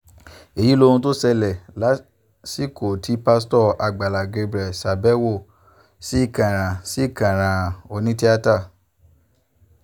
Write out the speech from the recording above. èyí lohun tó ṣẹlẹ̀ lásìkò tí pásítọ̀ àgbàlá gabriel ṣàbẹ̀wò sí kànrán sí kànrán onítìata